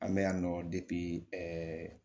An bɛ yan nɔ ɛɛ